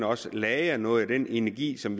også kan lagre noget af den energi som